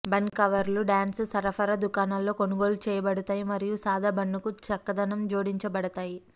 bun కవర్లు డ్యాన్స్ సరఫరా దుకాణాలలో కొనుగోలు చేయబడతాయి మరియు సాదా బన్నుకు చక్కదనం జోడించబడతాయి